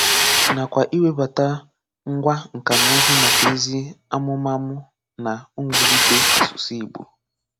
Nakwá ịwèbàtà ngwá nka na ụ̀zụ́ maka ezi àmúmàmù na mwùlítè asụ̀sụ́ Ìgbò.